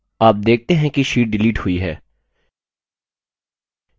आप देखते हैं कि sheet डिलीट हुई है